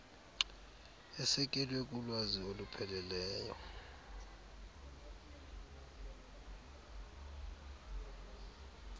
esekelwe kulwazi olupheleleyo